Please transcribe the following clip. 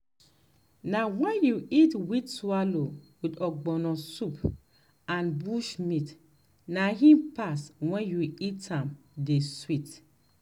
na wen you eat wheat swallow with ogbono soup and bushmeat na im pass wen you eat am dey sweet